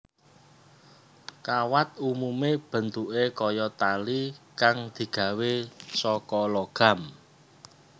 Kawat umume bentuké kaya tali kang digawé saka logam